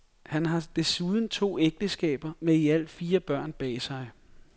Han har desuden to ægteskaber med i alt fire børn bag sig.